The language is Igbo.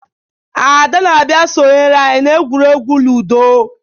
Ada na-abia sonyere anyi na egwuregwu Ludo